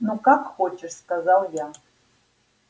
ну как хочешь сказал я